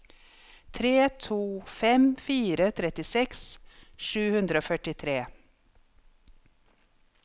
tre to fem fire trettiseks sju hundre og førtitre